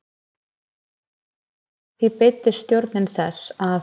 Því beiddist stjórnin þess, að